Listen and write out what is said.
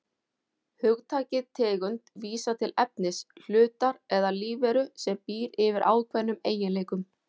Hugtakið tegund vísar til efnis, hlutar eða lífveru sem býr yfir ákveðnum eiginleikum.